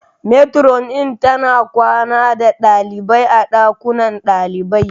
Metiron tana kwana da ɗaliabai a ɗakunan ɗalibai